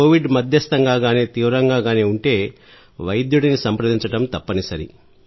Covid మధ్యస్థంగా కానీ తీవ్రంగా కానీ ఉంటే వైద్యుడిని సంప్రదించడం తప్పనిసరి